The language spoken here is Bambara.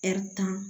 tan